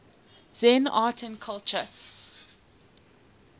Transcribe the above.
zen art and culture